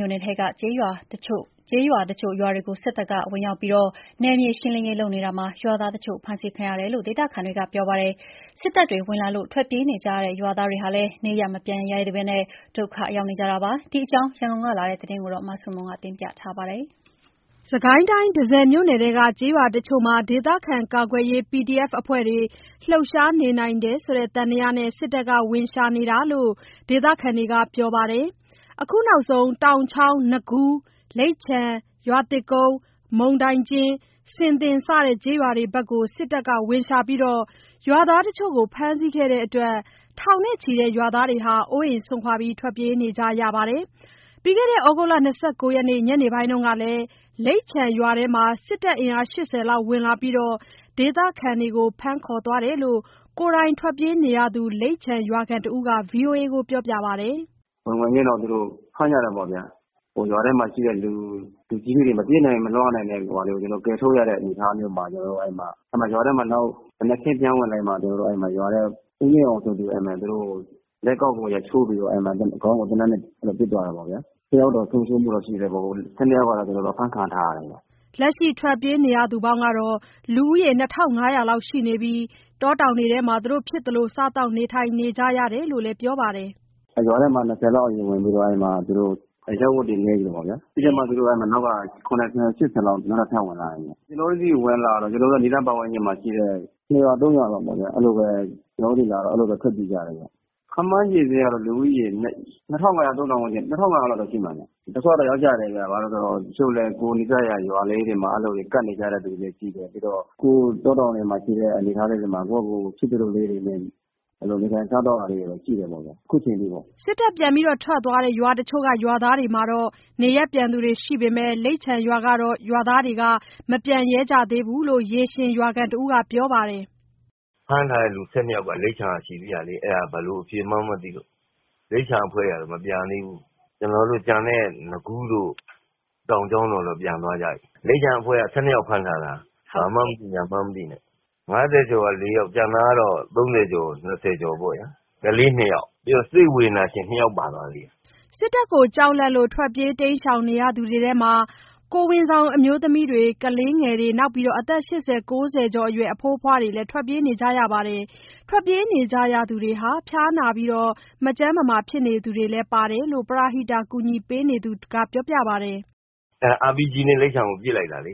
မြို့နယ်ထဲက ကျေးတချို့ရွာတွေကို စစ်တပ်က ဝင်ရောက်နယ်မြေရှင်းလင်းရေးလုပ်နေတာမှာ ရွာသားတချို့ ဖမ်းဆီးခံရတယ်လို့ ဒေသခံတွေက ပြောပါတယ်။ စစ်တပ်တွေ ဝင်လာလို့ ထွက်ပြေးနေကြရတဲ့ ရွာသားတွေဟာလည်း နေရပ် မပြန်ရဲကြသေးဘဲ ဒုက္ခရောက်နေကြပါတယ်။ ဒီကြောင်း ရန်ကုန်ကလာတဲ့ သတင်း မဆုမွန်ပြောပြပါမယ်။ တန့်ဆည်မြို့နယ်ထဲက ကျေးရွာတချို့မှာ ဒေသခံကာကွယ်ရေး PDF အဖွဲ့တွေ လှုပ်ရှားနေနိုင်တယ်ဆိုတဲ့ သံသယနဲ့ စစ်တပ်က ဝင်ရှာနေတာလို့ ဒေသခံတွေက ပြောပါတယ်။ အခုနောက်ဆုံး တောင်ချောင်း၊ နကူး၊ လိပ်ခြံ၊ ရွာသစ်ကုန်း၊ မုန်တိုင်ကျဉ်း၊ ဆင်သင် စတဲ့ ကျေးရွာတွေဘက် စစ်တပ်ကဝင်ရှာပြီး ရွာသားတချို့ကို ဖမ်းဆီးခဲ့တဲ့အတွက် ထောင်နဲ့ချီတဲ့ ရွာသားတွေ အိုးအိမ်စွန့်ခွာ ထွက်ပြေးနေကြရပါတယ်။ သြဂုတ်လ ၂၉ ရက် ညနေပိုင်းကလည်း လိပ်ခြံရွာထဲမှာ စစ်တပ်အင်အား ၈၀ လောက်ဝင်လာပြီး ဒေသခံတွေကို ဖမ်းခေါ်သွားတယ်လို့ ကိုယ်တိုင်ထွက်ပြေးနေရသူ လိပ်ခြံရွာခံတဦးက ဗွီအေအိုကို ပြောပါတယ်။ “ဝင်ဝင်ချင်းတော့ သူတို့ဖမ်းကြတာပေါ့ဗျ၊ ရွာထဲမှာရှိတဲ့လူကြီးတွေ မပြေးနိုင်မလွှားနိုင်တဲ့လူတွေ ကျနော်တို့ ကယ်ထုတ်ရတဲ့ အနေအထားမျိုးမှာ ကျနော်တို့ ရွာထဲမှာ နောက်မနက်ခင်းလိုက်လာမှ ကျနော်တို့ ဦးမြင့်အောင်ဆိုသူကို အဲ့မှာ သူတို့လက်ကောက်ကို ရိုက်ချိုးပြီးတော့ာ ခေါင်းကို သေနတ်နဲ့ ပစ်သွားတယ်ပေါ့ဗျာ၊ တယောက်တော့ ဆုံးရှုံးမှုရှိတယ်ပေါ့ ၁၂ ယောက်ကတော့ ကျနော်တို့ အဖမ်းခံထားရတယ်ဗျ။” လက်ရှိထွက်ပြေးနေရသူ လူဦးရေ ၂,၅၀၀ လောက် ရှိပြီး တောတောင်ထဲမှာ ဖြစ်သလို စားသောက်နေထိုင်နေကြရတယ်လို့လည်း ပြောပါတယ်။ ရွာထဲမှာ ၂၀ လောက် အရင်ဝင်ပြီးတော့ အဲ့မှာ သူတို့ အရပ်ဝတ်တွေနဲ့ အရင်ဝင်တာပေ့ါဗျ ပြီးတော့မှာ သူတို့အဲ့မှာ နောက်က ၇၀၊ ၈၀ လောက် နောက်ထပ် ထပ်ဝင်လာတယ်၊ ကျနော်တု့ိဆီဝင်လာတော့ ကျနော်တို့ဒေသ ပတ်ဝန်းကျင်မှာရှိတဲ့ နှစ်ရွာ သုံးရွာလောက် အဲ့လိုပဲ ကျနော်တို့လာတော့ အဲ့လိုပဲ ထွက်ပြေးကြတယ်ဗျ၊ ခန့်မှန်းခြေ လူစာရင်းကတော့ လူဦးရေ ၂,၅၀၀၊ ၃,၀၀၀ ဝန်းကျင် ၂,၅၀၀ လောက်တော့ ရှိမယ်ဗျ၊ ဒုက္ခတွေရောက်ကြတယ်ဗျ ဘာလဲဆိုတော့ တချို့လည်း ကိုယ်နီးစပ်ရာ ရွာလေးတွေမှာ အဲ့လိုကပ်ကြတဲ့ သူတွေလည်းရှိတယ် ပြီးတော့ အခုတောတောင်ထဲမှာရှိတဲ့ အနေအထားမှာ ကိုယ်ဟာ့ကိုယ် ဖြစ်သလိုလေးတွေနဲ့ အဲ့လိုနေထိုင်စားသောက်ရတာလေးတော့ ရှိတယ်ပေါ့ဗျ အခုချိန်ထိပေါ့။” စစ်တပ်ပြန်ထွက်သွားတဲ့ ရွာတချို့က ရွာသားတွေ နေရပ်ပြန်သူရှိပေမဲ့ လိပ်ခြံရွာကတော့ ရွာသားတွေကတော့ မပြန်ကြသေးဘူးလို့ ရေရှင်ရွာခံတဦးက ပြောပါတယ်။ “ဖမ်းထားတဲ့သူ ၁၂ ယောက်က လိပ်ခြံကရှိတယ်လေ။ အဲ့ဒါ ဘယ်လိုအဖြေမှန်းမသိလို့ လိပ်ခြံအဖွဲ့က မပြန်သေးဘူး ကျနော်တို့ ကျန်တဲ့ နကူးတို့ တောင်ချောင်းတို့ပြန်သွားကြပြီ၊ လိပ်ခြံအဖွဲ့က ၁၂ ယောက် ဖမ်းခံထားတာ ဘာမှန်းမသိညာမှန်းမသိနဲ့ ၅၀ ကျော်က လေးယောက် ကျန်တာကတော့ ၃၀ ကျော် ၂၀ ကျော်ပေါ့ဗျာ ကလေး နှစ်ယောက် ပြီးတော့ စိတ်ဝေဒနာရှင် နှစ်ယောက် ပါသွားသေးတယ်။” စစ်တပ်ကိုကြောက်လန့်လို့ ထွတ်ပြေးပုန်းရှောင်တဲ့အထဲမှာ ကိုယ်ဝန်ဆောင်အမျိုးသမီးတွေ ကလေးငယ်တွေ နောက်ပြီး အသက် ၈၀၊ ၉၀ ကျော်အရွယ် အဖိုးအဖွားတွေလည်း ထွက်ပြေးနေရပါတယ်။ ထွက်ပြေးနေကြရသူတွေဟာ ဖျားနားနေကြသူလည်း ပါတယ်လို့ ပရဟိတကူညီပေးနေရသူက ပြောပြပါတယ်။ “RPG လိပ်ခြံရွာကို ပစ်လိုက်တာလေ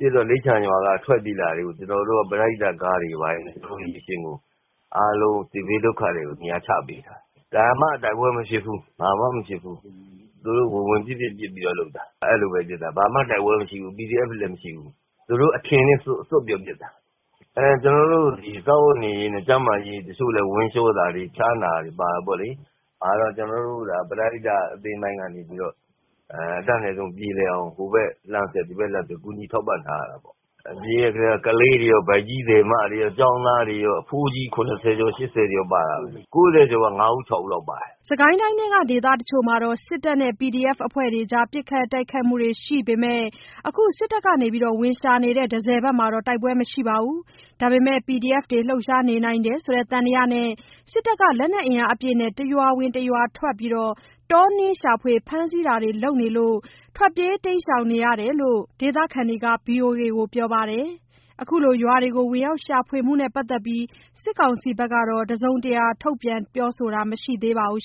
ပစ်တော့ လိပ်ခြံရွာက ထွက်ပြေးလာတာ ကျနော်တို့ ပရဟိတကားတွေ ဝိုင်းဝန်းပြီး အားလုံးစစ်ပြေးဒုက္ခသည်တွေကို နေရာချပေးထားတာ၊ ဘာမှတိုက်ပွဲမဖြစ်ဘူး ဘာမှမဖြစ်ဘူး သူတို့ဝင်ဝင် ပစ်ပစ်ပြီးတော့ လုပ်တာ အဲ့လိုပဲဖြစ်တာ ဘာမှတိုက်ပွဲမရှိဘူး PDF တွေလည်း မရှိဘူး။ သူတို့အထင်နဲ့ စွတ်ပြီးပစ်တာ။ ကျနော်တို့ ဒီစားဝတ်နေရေးနဲ့ ကျန်းမာရေး တချို့လည်း ဝမ်းလျှောတာတွေ ဖျားနာတာတွေ ပါတယ်ပေါ့လေ ဒါတော့ ကျနော်တို့ ပရဟိတအသင်းတိုင်းကနေပြီး အတတ်နိုင်ဆုံး ပြေလည်အောင် ဟိုဘက်လှမ်း ဒီဘက်လှမ်းဆက် ကူညီထောက်ပံ့ထားတာပေ့ါ ပြေးတဲအထဲ ကလေးတွေရော ဗိုက်ကြီးသည်မတွေရော ကျောင်းသားတွေရော အဖိုးကြီး ၇၀ ကျော် ၈၀ ကျော်ပါတယ် ၉၀ ကျော် ၅ ဦး ၆ ဦးလောက်ပါတယ်။” စစ်ကိုင်းတိုင်းထဲက ဒေသတချို့မှာ စစ်တပ်နဲ့ PDF အဖွဲ့တွေကြား ပစ်ခတ်တိုက်ခိုက်မှုတွေ ရှိပေမဲ့ အခုစစ်တပ်ဝင်ရှာနေတဲ့ တန့်ဆည်ဘက်မှာတော့ တိုက်ပွဲမရှိပါဘူး။ ဒါပေမဲ့ PDF တွေ လှုပ်ရှားနေနိုင်တယ်ဆိုတဲ့ သံသယနဲ့ စစ်တပ်က လက်နက်အင်အားအပြည့်နဲ့ တရွာဝင် တရွာထွက် တောနင်းရှာဖွေ ဖမ်းဆီးတာတွေ လုပ်နေတာလို့ ထွက်ပြေးပုန်းရှောင်နေရတဲ့ ဒေသခံတွေက ဗွီအိုအေကို ပြောပါတယ်။ ခုလိုရွာတွေဝင်ရောက်ရှာဖွေမှုနဲ့ပတ်သက်လို့ စစ်ကောင်စီဘက်က တစုံတရာ ပြောဆိုတာမရှိသေးပါဘူး